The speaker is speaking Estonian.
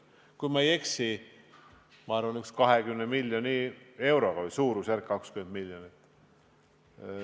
Kui ma ei eksi, siis oli selleks ette nähtud umbes 20 miljoni eurot.